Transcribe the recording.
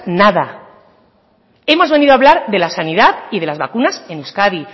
nada hemos venido a hablar de la sanidad y de las vacunas en euskadi